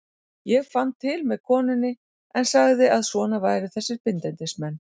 Ég fann til með konunni en sagði að svona væru þessir bindindismenn.